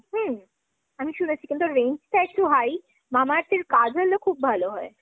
হম। আমি শুনেছি কিন্তু range তা একটু high। Mamaearth এর kajal ও খুব ভালো হয়।